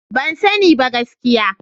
Ban sani ba gaskiya.